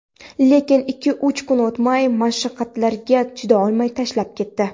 Lekin ikki-uch kun o‘tmay mashaqqatlariga chidolmay tashlab ketdi.